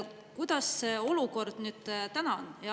Kuidas olukord nüüd, täna on?